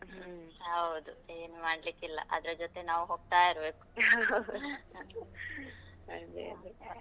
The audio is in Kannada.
ಹ್ಮ್ ಹೌದು, ಏನ್ ಮಾಡ್ಲಿಕ್ಕಿಲ್ಲ, ಅದ್ರ ಜೊತೆ ನಾವು ಹೋಗ್ತಾ ಇರ್ಬೇಕು ಹಾಗೆ ಅದು.